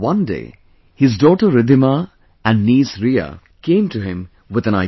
One day his daughter Riddhima and niece Riya came to him with an idea